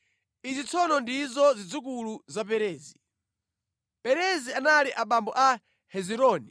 Izi tsono ndizo zidzukulu za Perezi: Perezi anali abambo a Hezironi.